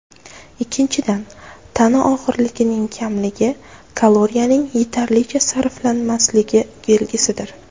Ikkinchidan, tana og‘irligining kamligi kaloriyaning yetarlicha sarflanmasligi belgisidir.